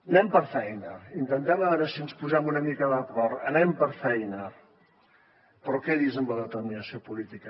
anem per feina intentem a veure si ens posem una mica d’acord anem per feina però quedi’s amb la determinació política